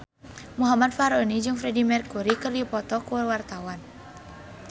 Muhammad Fachroni jeung Freedie Mercury keur dipoto ku wartawan